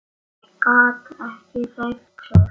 Gat ekki hreyft sig.